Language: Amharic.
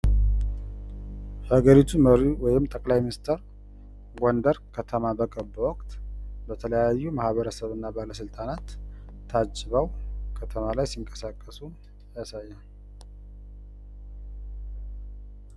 የሀገሪቱ መሪ ወይንም ጠቅላይ ሚኒስቴር ጎንደር በገቡ ወቅት በተለያዩ ማህበረሰብ እና ባለስልጣናት ታጅበው ከተማ ላይ ሲንቀሳቀሱ ያሳያል።